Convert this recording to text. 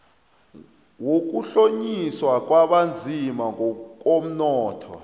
wokuhlonyiswa kwabanzima ngokomnotho